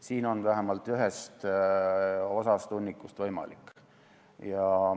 Siin on vähemalt ühest osast hunnikust see võimalik.